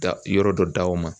Ka yɔrɔ dɔ d'aw ma.